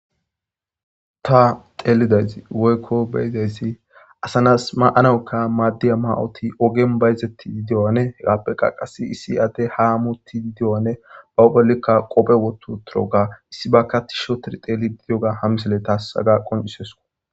ta teelidaysi woykko beyidayssi asanas ma7anaoka maaddiya ma7oti ogen bayzetti didiyoane hegappe qa qas issi adde ha amutti dideyoane bawo pollikka qophe wotu turoga issi baka ti shotir teeli bidiyoga hamisele taasaga qonisesko